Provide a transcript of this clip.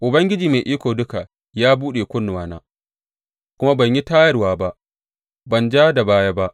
Ubangiji Mai Iko Duka ya buɗe kunnuwana, kuma ban yi tayarwa ba; ban ja da baya ba.